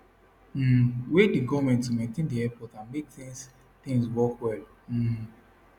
um wey dey goment to maintain di airports and make tins tins work well um